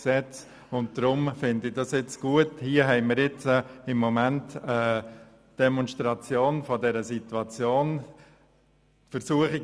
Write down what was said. Deshalb finde ich das jetzt gut, weil wir hier gerade eine Demonstration dieser Situation erleben.